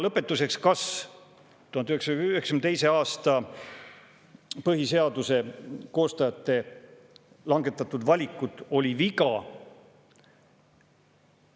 Lõpetuseks, kas 1992. aasta põhiseaduse koostajate langetatud valik oli viga?